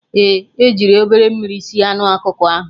Ee, jiri obere mmiri sie anụ ọkụkọ ahụ